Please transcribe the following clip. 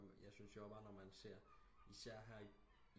Kommer jeg syntes jo også bare når man ser især her i